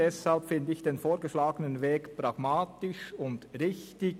Deshalb finde ich den vorgeschlagenen Weg pragmatisch und richtig.